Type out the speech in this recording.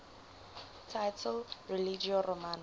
title religio romana